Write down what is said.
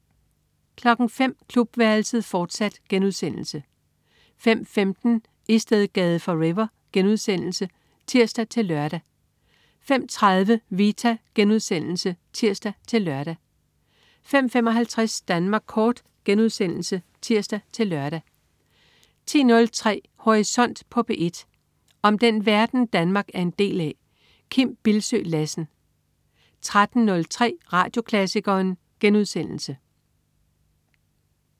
05.00 Klubværelset, fortsat* 05.15 Istedgade forever* (tirs-lør) 05.30 Vita* (tirs-lør) 05.55 Danmark Kort* (tirs-lør) 10.03 Horisont på P1. Om den verden, Danmark er en del af. Kim Bildsøe Lassen 13.03 Radioklassikeren*